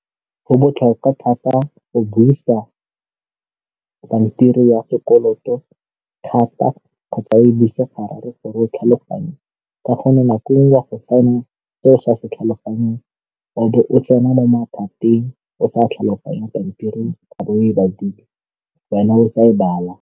Go botlhokwa thata go buisa pampiri ya sekoloto thata kgotsa e buisega gore o tlhaloganye ka go mo nakong ya go fa o sa se tlhaloganyong o be o tsena mo mathateng o sa tlhaloganye pampiri a bo o e badile wena o sa e bala.